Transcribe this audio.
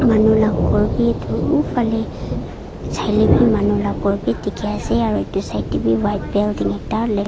Manu la khor beh to uhfale jey lebeh manu la khor beh dekhe ase aro etu side tabeh white building ekta lef--